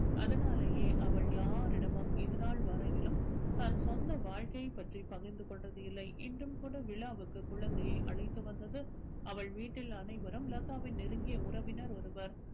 அதனாலேயே அவள் யாரிடமும் இதுனால் வரையிலும் தன் சொந்த வாழ்க்கையை பற்றி பகிர்ந்து கொண்டது இல்லை இன்றும் கூட விழாவிற்கு குழந்தையை அழைத்து வந்தது அவள் வீட்டில் அனைவரும் லதாவின் நெருங்கிய உறவினர் ஒருவர்